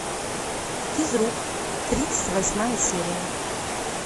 физрук тридцать восьмая серия